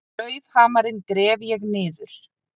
Klaufhamarinn gref ég niður.